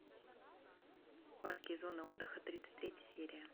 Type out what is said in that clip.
парки и зоны отдыха тридцать третья серия